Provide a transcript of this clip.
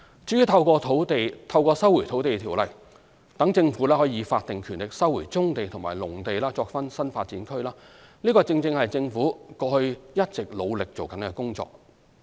至於透過《收回土地條例》讓政府以法定權力收回棕地與農地作新發展區，正是政府過去一直努力的工作。